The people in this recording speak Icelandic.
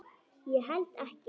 Ég held ekkert.